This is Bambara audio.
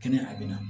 Kɛnɛ a bɛ na